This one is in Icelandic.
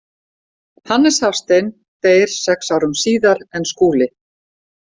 Hannes Hafstein deyr sex árum síðar en Skúli.